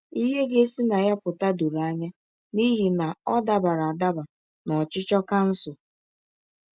Ihe ga-esi na ya pụta doro anya, n’ihi na ọ dabara dabara na ọchịchọ kansụl.